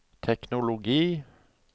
teknologi